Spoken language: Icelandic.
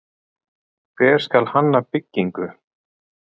Hvernig skal hanna byggingu?